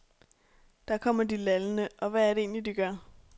Der kommer de lallende, og hvad er det egentlig, de gør?